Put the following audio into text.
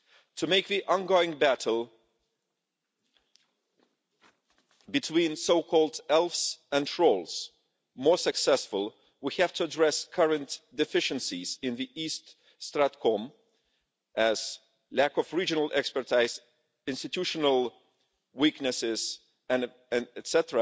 To make the ongoing battle between so called elves and trolls more successful, we have to address current deficiencies in the East StratCom Task Force as its lack of regional expertise, institutional weaknesses, etc.,